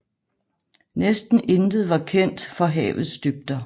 Næsten intet var kendt for havets dybder